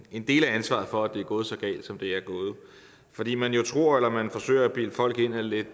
en del af ansvaret for at det er gået så galt som det er gået fordi man jo tror eller man forsøger at bilde folk ind at lidt